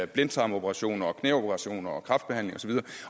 blindtarmsoperationer knæoperationer